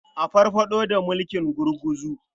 A farfaɗo da mulkin gurguzu.